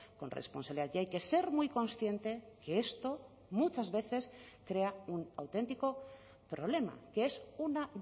con responsabilidad y hay que ser muy consciente que esto muchas veces crea un auténtico problema que es una